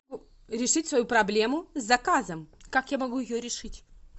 решить свою проблему с заказом как я могу ее решить